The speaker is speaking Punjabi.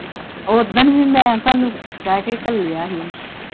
ਓਦਣ ਵੀ ਮੈਂ ਤੁਹਾਨੂੰ ਕਹਿ ਕੇ ਘੱਲਿਆ ਹੀ।